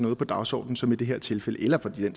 noget på dagsordenen som i det her tilfælde eller for den